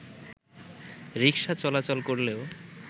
রিকশা চলাচল করলেও